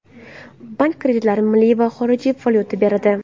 Bank kreditlarni milliy va xorijiy valyutada beradi.